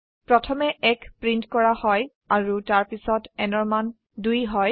প্ৰথমে 1 প্ৰীন্ট কৰা হয় আৰু তাৰপিছত nৰ মান 2 হয়